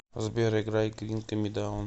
сбер играй гринд ми даун